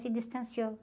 Se distanciou.